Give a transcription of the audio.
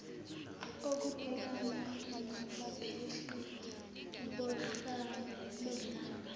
okubhekana nabaphehli bodlame